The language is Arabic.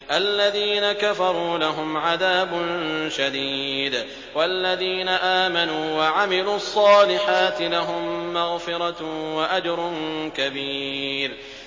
الَّذِينَ كَفَرُوا لَهُمْ عَذَابٌ شَدِيدٌ ۖ وَالَّذِينَ آمَنُوا وَعَمِلُوا الصَّالِحَاتِ لَهُم مَّغْفِرَةٌ وَأَجْرٌ كَبِيرٌ